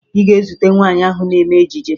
Ị ga-ezute nwaanyị ahụ na-eme ejije